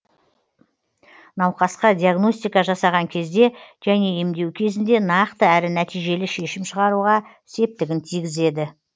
науқасқа диагностика жасаған кезде және емдеу кезінде нақты әрі нәтижелі шешім шығаруға септігін тигізеді